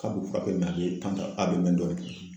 K'a b'u fura bɛ nalen kan tan a bɛ mɛn dɔɔni.